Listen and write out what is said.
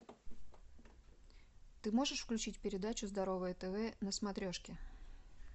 ты можешь включить передачу здоровое тв на смотрешке